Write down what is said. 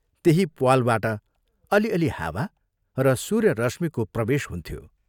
त्यही प्वालबाट अलि अलि हावा र सूर्यरश्मिको प्रवेश हुन्थ्यो।